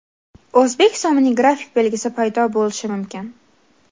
O‘zbek so‘mining grafik belgisi paydo bo‘lishi mumkin.